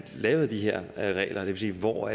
lavede de her regler det vil sige hvor